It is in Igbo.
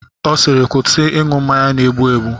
Ọ siiri kwụsị ịṅụ mmanya na-egbu egbu!